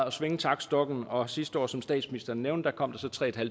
at svinge taktstokken og sidste år som statsministeren nævnte kom der så tre